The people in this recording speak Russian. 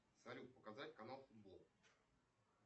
салют показать канал футбол